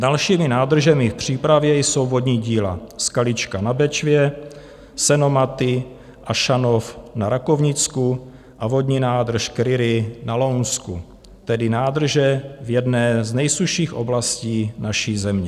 Dalšími nádržemi v přípravě jsou vodní díla Skalička na Bečvě, Senomaty a Šanov na Rakovnicku a vodní nádrž Kryry na Lounsku, tedy nádrže v jedné z nejsušších oblastí naší země.